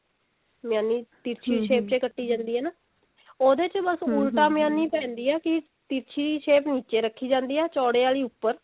ਮੇਆਨੀ ਤਿਰਛੀ shape ਚ ਕੱਟੀ ਜਾਂਦੀ ਹੈ ਨਾ ਉਹਦੇ ਚ ਬਸ ਉਲਟਾ ਮੇਆਨੀ ਪੈਂਦੀ ਹੈ ਕਿ ਤਿਰਛੀ shape ਨਿੱਚੇ ਰੱਖੀ ਜਾਂਦੀ ਹੈ ਚੋੜੇ ਆਲੀ ਉੱਪਰ